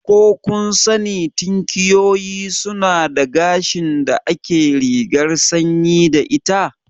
Ko kun sani tinkiyoyi suna da gashin da ake rigar sanyi da ita?